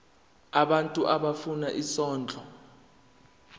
abantu abafuna isondlo